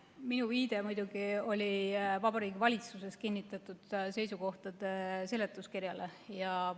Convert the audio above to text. Minu viide muidugi oli Vabariigi Valitsuses kinnitatud seisukohtade seletuskirjale.